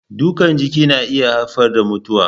Dukan jiki na iya haifar da mutuwa.